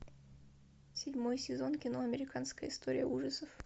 седьмой сезон кино американская история ужасов